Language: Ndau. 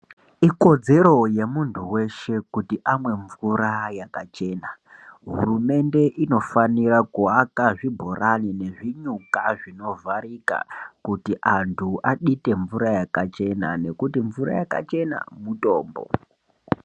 Ikodzero yemuntu weshe kuti amwe mvura yakachena. Hurumende inofanira kuwaka zvibhorani nezvinyuka zvinovharika kuti anhu adite mvura yakachena ngekuti mvura yakachena mutombo.